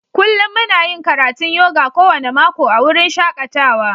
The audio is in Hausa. Kullum muna yin karatun yoga kowane mako a wurin shakatawa.